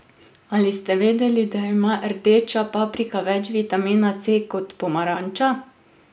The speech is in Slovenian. Ali ste vedeli, da ima rdeča paprika več vitamina C kot pomaranča?